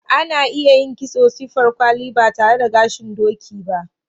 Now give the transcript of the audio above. Ana iya yin kitson siffar kwali ba tare da gashin doki ba.